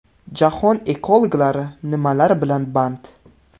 Jahon ekologlari nimalar bilan band?